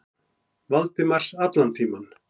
Valdimars allan tímann.